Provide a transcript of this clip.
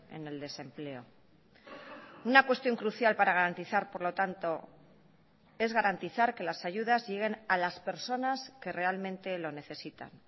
en el desempleo una cuestión crucial para garantizar por lo tanto es garantizar que las ayudas lleguen a las personas que realmente lo necesitan